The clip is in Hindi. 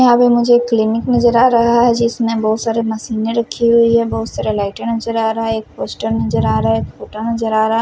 यहां पे मुझे एक क्लिनिक नजर आ रहा है जिसमें बहुत सारे मशीनें रखी हुई हैं बहुत सारा लाइटें नजर आ रहा है एक पोस्टर नजर आ रहा है एक खुटा नजर आ रहा--